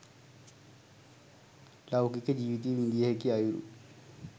ලෞකික ජීවිතය විඳිය හැකි අයුරු